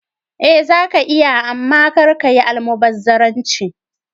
Eh zaka iya amma kar kayi almubazzaranci.